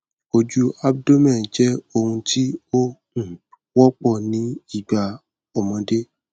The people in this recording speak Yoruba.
ojú abdomen jẹ ohun tí ó um wọpọ ní ìgbà ọmọdé